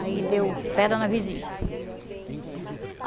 Aí deu pedra na vesícula.